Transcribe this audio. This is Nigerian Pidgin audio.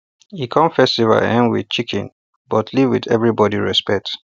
hin come festival um with chicken but leave with everybody respect